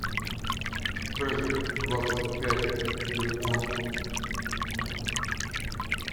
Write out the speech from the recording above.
фреш двадцать пять телефон